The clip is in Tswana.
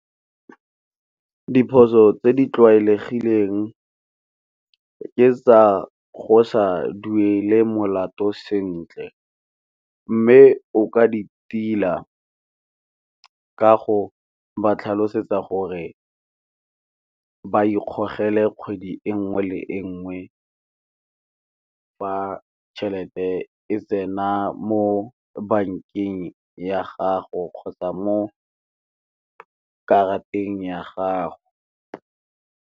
Diphoso tse di tlwaelegileng ke tsa go sa duele molato sentle, mme o ka di tila ka go ba tlhalosetsa gore ka ikgogele kgwedi e nngwe le e nngwe fa tšhelete e tsena mo bankeng ya gago kgotsa mo ka karateng ya gago.